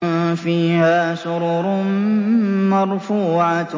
فِيهَا سُرُرٌ مَّرْفُوعَةٌ